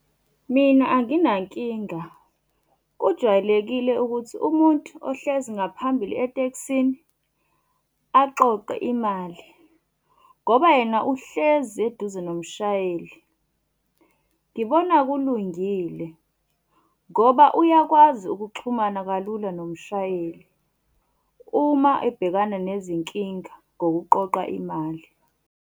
Mina anginankinga. Kujwayelekile ukuthi umuntu ohlezi ngaphambili etekisini aqoqe imali ngoba yena uhlezi eduze nomshayeli. Ngibona kulungile ngoba uyakwazi ukuxhumana kalula nomshayeli uma ebhekana nezinkinga ngokuqoqa imali.